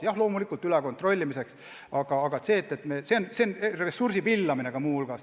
Jah, loomulikult tuleb kontrollida, aga praegune kord on ressursi pillamine.